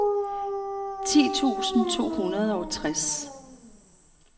ti tusind to hundrede og tres